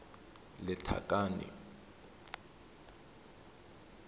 lethakane